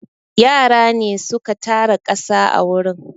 Yara ne su ka tara ƙasa a wurin.